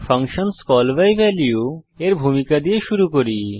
function call by value এর ভূমিকা দিয়ে শুরু করি